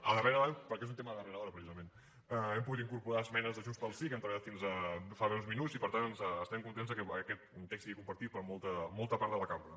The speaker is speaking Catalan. a darrera hora perquè és un tema de darrera hora precisament hem pogut incorporar les esmenes de junts pel sí que hem treballat fins fa breus minuts i per tant estem contents que aquest text sigui compartit per molta molta part de la cambra